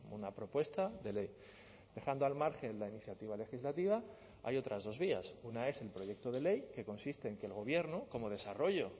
una propuesta de ley dejando al margen la iniciativa legislativa hay otras dos vías una es el proyecto de ley que consiste en que el gobierno como desarrollo